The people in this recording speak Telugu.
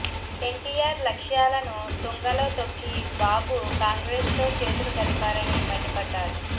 ఎన్టీఆర్ లక్ష్యాలను తుంగలో తొక్కి బాబు కాంగ్రెస్ తో చేతులు కలిపారని మండిపడ్డారు